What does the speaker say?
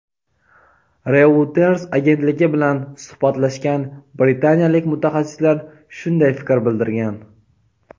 "Reuters" agentligi bilan suhbatlashgan britaniyalik mutaxassislar shunday fikr bildirgan.